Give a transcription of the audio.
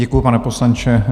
Děkuji, pane poslanče.